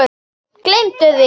Gleymdu því!